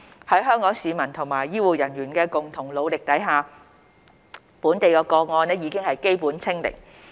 在香港市民和醫護人員的共同努力下，本地個案已基本"清零"。